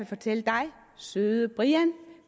fortælle dig søde brian at